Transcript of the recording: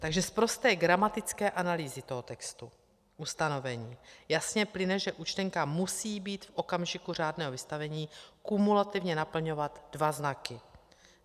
Takže z prosté gramatické analýzy toho textu ustanovení jasně plyne, že účtenka musí být v okamžiku řádného vystavení kumulativně naplňovat dva znaky: